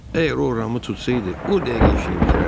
Əgər o Ramı tutsaydı, o dəqiqə işini bitirərdi.